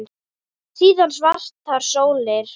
Síðan svartar sólir.